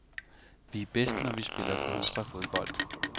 Vi er bedst, når vi spiller kontrafodbold.